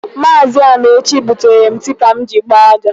Maazi Amaechi butere m tipa m ji agba aja.